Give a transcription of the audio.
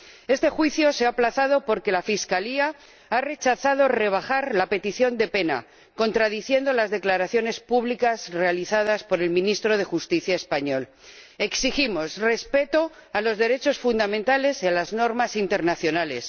Este juicio se ha aplazado porque la Fiscalía ha rechazado rebajar la petición de pena, contradiciendo las declaraciones públicas realizadas por el ministro de Justicia español. Exigimos respeto a los derechos fundamentales y a las normas internacionales.